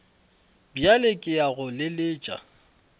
bjale ke ya go leletša